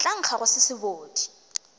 tla nkga go se sebodi